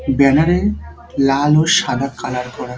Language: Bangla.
ব্যানারে লাল ও সাদা কালার করা।